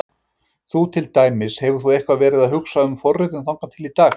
Þú til dæmis, hefur þú eitthvað verið að hugsa um forritun þangað til í dag?